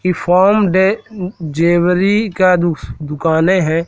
ये फॉर्म डे जेवरी का दु दुकाने हैं।